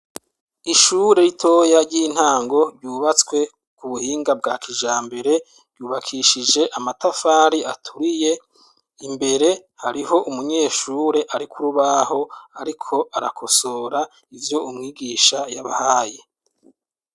Ishure ritoya ry'intango ryubatse ku buhinga bwa kijambere ryubakishije amatafari aturiye imbere hariho umunyeshure ari ku rubaho ariko arakosora ivyo umwigisha yabahaye.